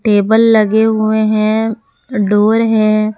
Table लगे हुए हैं डोर हैं।